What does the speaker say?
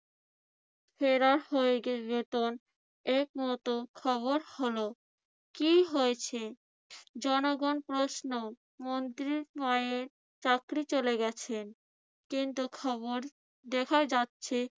ফেরা হয়ে একমত খবর হলো কি হয়েছে? জনগণ প্রশ্ন। মন্ত্রীর মায়ের চাকরি চলে গেছে। কিন্তু খবর দেখা যাচ্ছে